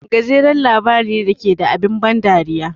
Gajeren labari ne da ke da abin ban dariya.